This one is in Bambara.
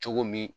Cogo min